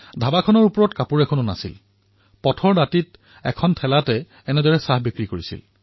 গৰম কাপোৰো বিশেষ পিন্ধা নাছিল আৰু পথৰ কাষত সৰু ঠেলা এখন লগাই তেওঁ থিয় দি আছিল